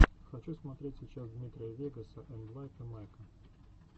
хочу смотреть сейчас дмитрия вегаса энд лайка майка